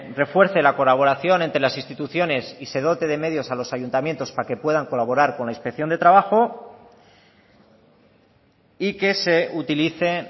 refuerce la colaboración entre las instituciones y se dote de medios a los ayuntamientos para que puedan colaborar con la inspección de trabajo y que se utilice